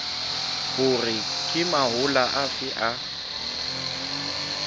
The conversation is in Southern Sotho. hore ke mahola afe a